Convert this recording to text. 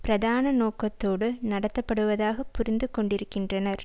பிரதான நோக்கத்தோடு நடத்தப்படுவதாக புரிந்து கொண்டிருக்கின்றனர்